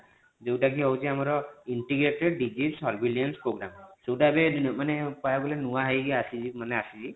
ଯୋଉଟ କି ରହୁଛି ଆମରintegrated degree servlet program ଯୋଉଟା ଏବେ ମାନେ କହିବାକୁ ଗଲେ ଏବେ ନୂଆ ହେଇକି ଆସିଛି ମାନେ ଆସିଛି।